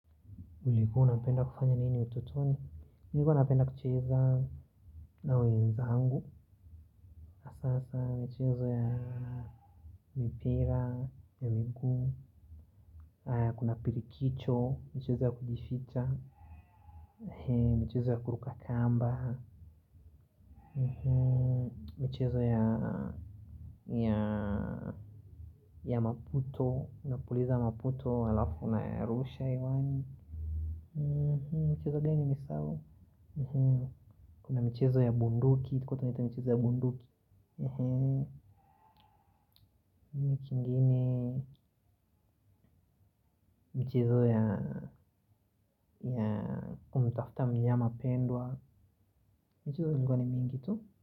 Ulikuwa unapenda kufanya nini utotoni? Nilikuwa napenda kucheza na wenzangu, hasaa, mchezo ya mipira, ya miguu, kuna pirikicho, mchezo ya kujificha, mchezo ya kuruka kamba, mchezo ya maputo, unapuliza maputo halafu unarusha, iwani, mchezo gani nimesahau? Kuna mchezo ya bunduki, iko tunaita mchezo ya bunduki. Mchezo ya unamtafuta mnyama pendwa. Mchezo ni mingi tu.